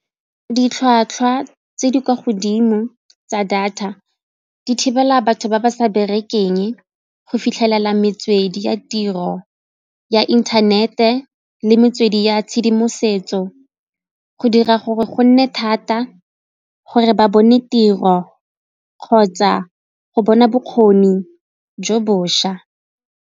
Ditlhwatlhwa tse di kwa godimo tsa data di thibela batho ba ba sa berekeng go fitlhelela metswedi ya tiro ya inthanete le metswedi ya tshedimosetso go dira gore go nne thata gore ba bone tiro kgotsa go bona bokgoni jo bošwa.